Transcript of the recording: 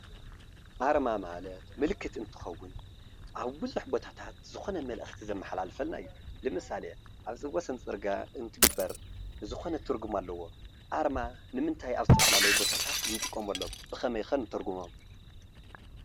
አርማ ማለት ምልክት እንትኸውን፣ አብ ብዙሕ ቦታታ ዝኮነ መልእክቲ ዘመሓላልፈልና እዩ። ለምሳሌ አብ ዝወሰን ፅርግያ እንትግበር ዝኮነ ትርጉም አለዎ። አርማ ንምንታይ አብ ዝተፈላለዩ ቦታታ እንጥቀመሎም ብከመይ ከ ንትርጉሞም ?